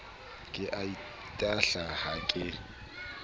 ke a itahla ha ke